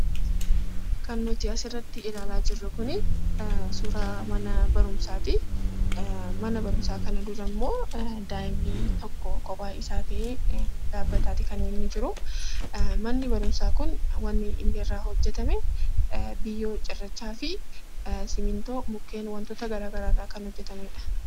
Kan nuti asirratti ilaalaa jirru kun suuraa mana barumsaati. Mana barumsaa kana durammoo daa'imni tokko kophaa isaa ta'ee dhaabbateetu kan inni jiru. Manni barumsaa kun wanti inni irraa hojjatame biyyee, cirrachaa fi simmintoo mukkeen wantoota garaagaraa irraa kan hojjatamedha.